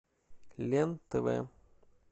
лен тв